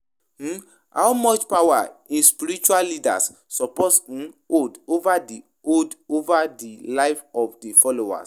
um how much power um spiritual leaders suppose um hold over di hold over di live of di followers?